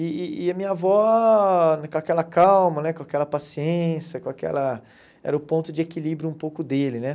E e e a minha avó, com aquela calma né, com aquela paciência, com aquela era o ponto de equilíbrio um pouco dele, né?